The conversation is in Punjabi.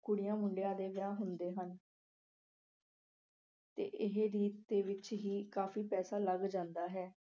ਕੁੜੀਆਂ ਮੁੰਡਿਆਂ ਦੇ ਵਿਆਹ ਹੁੰਦੇ ਹਨ। ਤੇ ਇਹ ਰੀਤ ਦੇ ਵਿੱਚ ਹੀ ਕਾਫੀ ਪੈਸਾ ਲੱਗ ਜਾਂਦਾ ਹੈ।